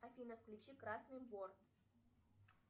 афина включи красный вор